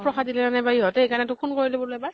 প্ৰসাদ দিলে নে নাই বা ইহতে সেইকাৰণে তোক phone কৰিলো বুলু এবাৰ।